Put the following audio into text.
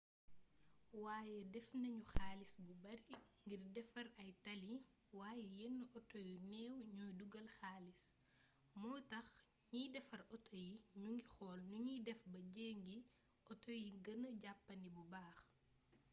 waaye def nañu xaalis bu bari ngir defar ay tali waaye yenn auto yu néew ñooy dugal xaalis moo tax ñiy defar auto yi ñu ngi xool nu ñuy def ba njëgi auto yi gëna jàppandi bu baax